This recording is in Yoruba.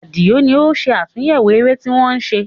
Àdìó ní ó ń ṣe àtúnyẹwò eré tí wọ́n ṣe